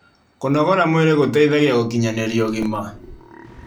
Kũnogora mwĩrĩ gũteithagia gũkinyanĩria ũgima